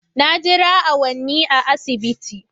Na jira awanni a asibiti